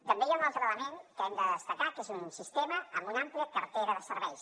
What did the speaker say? també hi ha un altre element que hem de destacar que és un sistema amb una àmplia cartera de serveis